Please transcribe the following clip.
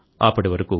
అప్పటి వరకు